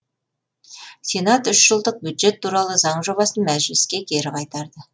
сенат үш жылдық бюджет туралы заң жобасын мәжіліске кері қайтарды